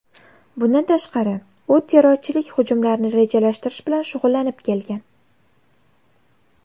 Bundan tashqari, u terrorchilik hujumlarini rejalashtirish bilan shug‘ullanib kelgan.